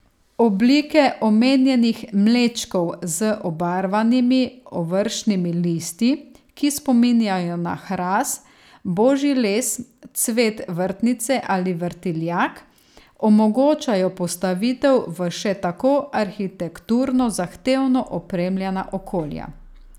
Oblike omenjenih mlečkov z obarvanimi ovršnimi listi, ki spominjajo na hrast, božji les, cvet vrtnice ali vrtiljak, omogočajo postavitev v še tako arhitekturno zahtevno opremljena okolja.